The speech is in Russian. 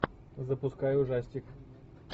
запускай ужастик